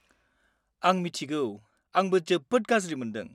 आं मिथिगौ! आंबो जोबोद गाज्रि मोनदों।